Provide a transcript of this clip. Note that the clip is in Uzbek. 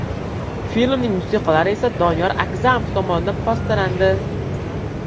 Filmning musiqalari esa Doniyor Agzamov tomonidan bastalandi.